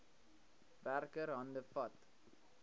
werker hande vat